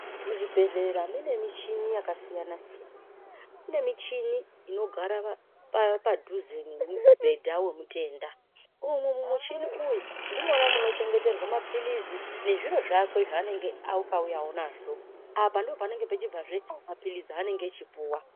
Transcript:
Muzvibhehlera mune michini yakasiyanasiyana kune michini inogara padhuze nemubhedha wemutenda umu mumuchini uyu ndimwona munochengeteerwa mapilizi, nezviro zvakwe zvaanenge akauyawo nazvo, apa ndipo panenge pechibvazve mapilizi anenge achipuwa.